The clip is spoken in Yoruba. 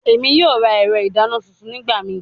Emi yoo ra ẹrọ idana tuntun nigbamii